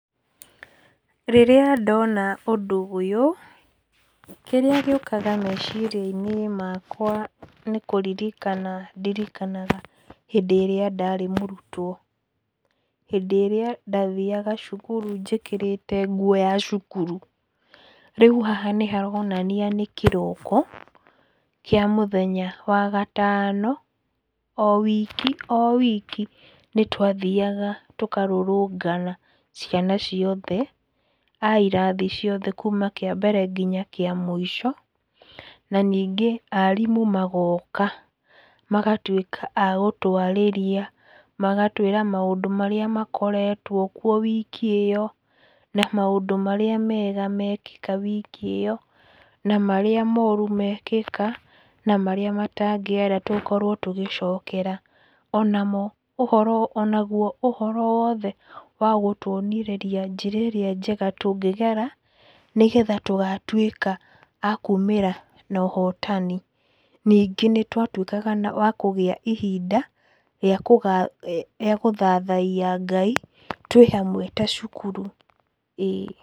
Rĩrĩa ndona ũndũ ũyũ, kĩrĩa gĩũkaga meciria-inĩ makwa nĩ kũririkana ndirikanaga hĩndĩ ĩrĩa ndarĩ mũrutwo, hĩndĩ ĩrĩa ndathiaga cukuru njĩkĩrĩte nguo ya cukuru. Rĩu haha nĩharonania nĩ kĩroko kĩa mũthenya wa gatano, o wiki o wiki nĩtwathiaga tũkarũrũngana ciana ciothe a irathi ciothe kuuma kĩambere nginya kĩa mũico na ningĩ arimũ magoka magatuĩka a gũtwarĩria, magatwĩra maũndũ marĩa makoretwo kuo wiki ĩyo, na maũndũ marĩa mega mekĩka wiki ĩyo, na marĩa mooru mekĩka na marĩa matangĩera tũkorwo tũgĩcokera. Onamo ũhoro, onagwo ũhoro wothe wa gũtũonireria njĩrerĩa njega tũngĩgera nĩgetha tũgatuĩka a kumĩra nohotani. Ningĩ nĩtwatuĩkaga na wa kũgĩa ihinda rĩa kũga, rĩa gũthathayia Ngai twĩhamwe ta cukuru, ĩĩ.